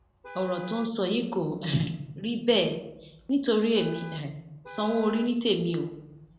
ọrọ tó ń sọ yìí kò um rí bẹẹ nítorí èmi um sanwóorí ní tèmi o